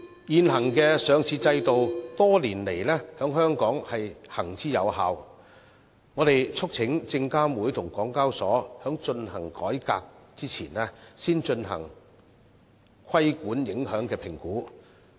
現行的上市制度多年來在香港行之有效，我們促請證監會與港交所在進行改革前，先進行規管影響評估。